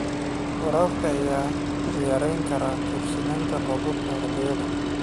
Waraabka ayaa yarayn kara ku tiirsanaanta roobabka xilliyeed.